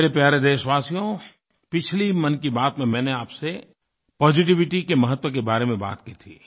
मेरे प्यारे देशवासियो पिछली मन की बात में मैंने आपसे पॉजिटिविटी के महत्व के बारे में बात की थी